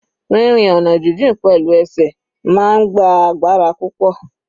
Rírin ọ̀nà jijìn pẹ̀lú ẹsẹ̀ máa ń gba agbára púpọ̀.